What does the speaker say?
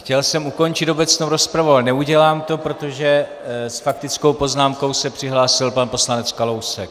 Chtěl jsem ukončit obecnou rozpravu, ale neudělám to, protože s faktickou poznámkou se přihlásil pan poslanec Kalousek.